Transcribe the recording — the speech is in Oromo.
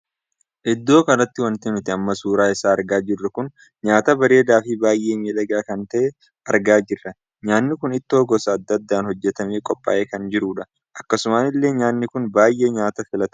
Iddoo kanatti wanti nuti amma suuraa isaa argaa jirru kun nyaata bareedaa Fi baay'ee miidhagaa kan tahee argaa jirra. nyaanni kun ittoo gosa addaa addaan hojjetamee qophaa'ee kan jirudha. akkasuma illee nyaanni kun baay'ee nyaata filatamaadha.